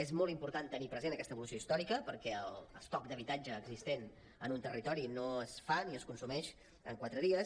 és molt important tenir present aquesta evolució històrica perquè l’estoc d’habitatge existent en un territori no es fa ni es consumeix en quatre dies